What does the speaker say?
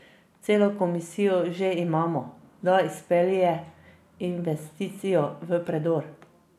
Celo komisijo že imamo, da izpelje investicijo v predor.